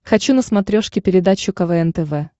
хочу на смотрешке передачу квн тв